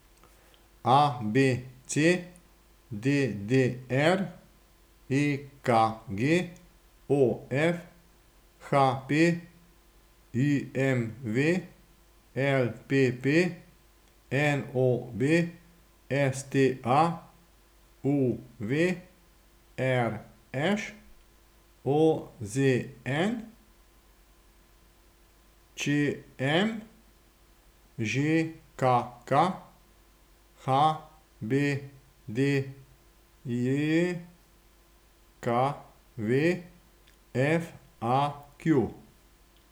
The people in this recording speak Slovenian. A B C; D D R; E K G; O F; H P; I M V; L P P; N O B; S T A; U V; R Š; O Z N; Č M; Ž K K; H B D J K V; F A Q.